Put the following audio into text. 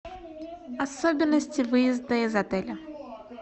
особенности выезда из отеля